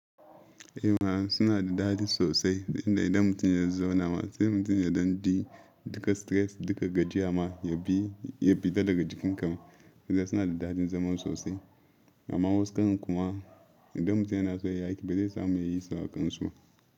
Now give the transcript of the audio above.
Eh ma suna da daɗi sosai inda idan mutum ya zauna ma sai mutum ya ɗan ji duka stress duka gajiya ma ya fita daga jikinka. Ma suna da daɗin zama sosai amma wasu kan kuma idan mutum yana so ya yi aiki ba zai samu yayi su akan su ba.